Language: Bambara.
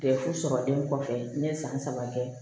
Tɛfu sɔrɔ den kɔfɛ ne ye san saba kɛ